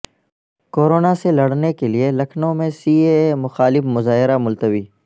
corona سے لڑنے کیلئے لکھنو میں سی اے اے مخالف مظاہرہ ملتوی